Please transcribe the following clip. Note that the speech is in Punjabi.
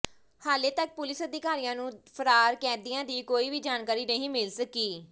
ਹਾਲੇ ਤੱਕ ਪੁਲਿਸ ਅਧਿਕਾਰੀਆਂ ਨੂੰ ਫ਼ਰਾਰ ਕੈਦੀਆਂ ਦੀ ਕੋਈ ਵੀ ਜਾਣਕਾਰੀ ਨਹੀਂ ਮਿਲ ਸਕੀ